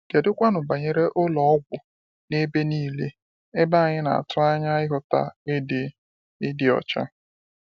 Kedụkwanụ banyere ụlọ ọgwụ—n’ebe niile, ebe anyị na-atụ anya ịhụta ịdị ịdị ọcha?